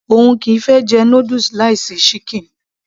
òun kìí fẹ́ jẹ noodles láì sí ṣíkìn